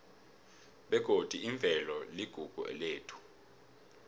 begodi imvelo iligugu lethu